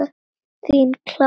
Þín Klara.